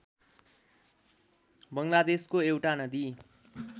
बङ्गलादेशको एउटा नदी